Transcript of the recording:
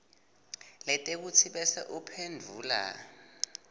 letheksthi bese uphendvula